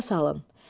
Yada salın.